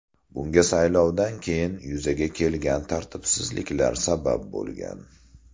Bunga saylovdan keyin yuzaga kelgan tartibsizliklar sabab bo‘lgan.